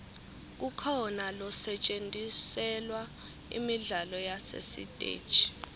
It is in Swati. kukhona losetjentiselwa imidlalo yasesiteji